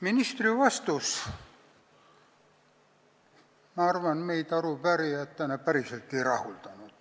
Ministri vastus, ma arvan, meid arupärijatena päriselt ei rahuldanud.